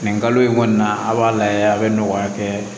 Nin kalo in kɔni na a b'a lajɛ a bɛ nɔgɔya kɛ